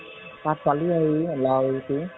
তাত পালো লাও